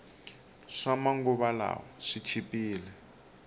swama nguva lawa swi chipile